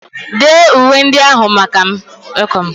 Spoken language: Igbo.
Dee uwe ndị ahụ maka m!